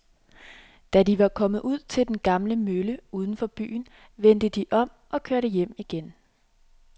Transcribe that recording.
Da de var kommet ud til den gamle mølle uden for byen, vendte de om og kørte hjem igen.